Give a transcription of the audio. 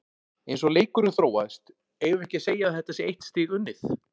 Eins og leikurinn þróaðist, eigum við ekki segja að þetta sé eitt stig unnið?